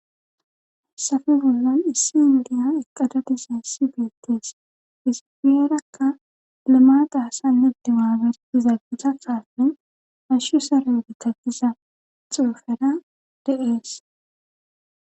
Hessafe bollan issi indiya eqqadadisa issi beettees isipiyerakka lima qaasanne dimaaberdizaggisa kaalbin ashshu sare gitagiza xoofera de7ees